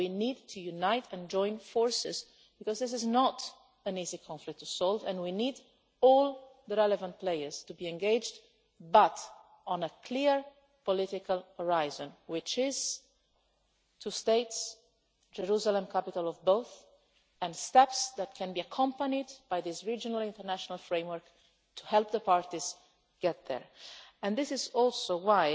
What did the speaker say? No, we need to unite and join forces because this is not an easy conflict to solve, and we need all the relevant players to be engaged, but on a clear political horizon two states, Jerusalem the capital of both, and steps that can be accompanied by this regional international framework to help the parties get there. This is also